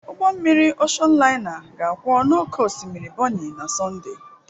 ụgbọ mmiri Oshon laina ga-akwọ n'oké osimiri Bonny na Sọnde